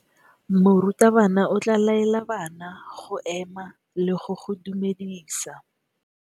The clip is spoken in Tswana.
Morutabana o tla laela bana go ema le go go dumedisa.